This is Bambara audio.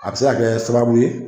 A bɛ se ka kɛ sababu ye